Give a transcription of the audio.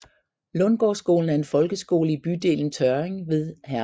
Lundgårdskolen er en folkeskole i bydelen Tjørring ved Herning